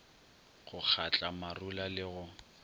go kgatla marula le go